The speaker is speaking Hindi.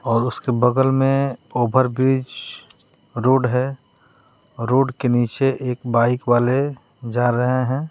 और उसके बगल में ओभर ब्रिज रोड है रोड के नीचे एक बाइक वाले जा रहे हैं।